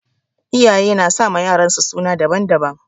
Iyaye nasama yaransu suna daban-daban